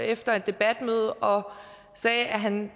efter et debatmøde og sagde at han